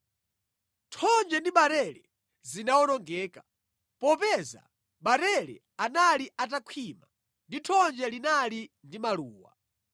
Thonje ndi barele zinawonongeka, popeza barele anali atakhwima ndi thonje linali ndi maluwa.